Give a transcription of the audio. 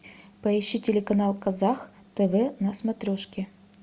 поищи телеканал казах тв на смотрешке